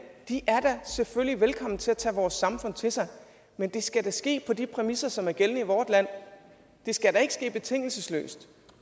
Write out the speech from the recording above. er da selvfølgelig vekommen til at tage vores samfund til sig men det skal da ske på de præmisser som er gældende i vort land det skal da ikke ske betingelsesløst